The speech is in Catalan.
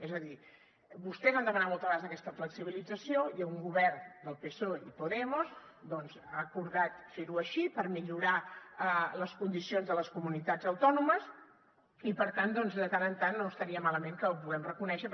és a dir vostès han demanat moltes vegades aquesta flexibilització i un govern del psoe i podemos doncs ha acordat fer ho així per millorar les condicions de les comunitats autònomes i per tant de tant en tant no estaria malament que ho puguem reconèixer